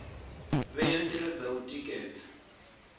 vhea ndila dza u tikedza